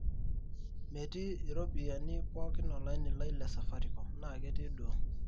metii ropiyani pooki olaini lai le safaricom naa ketii duo